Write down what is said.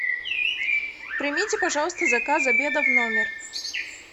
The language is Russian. примите пожалуйста заказ обеда в номер